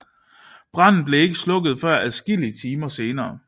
Branden blev ikke slukket før adskillige timer senere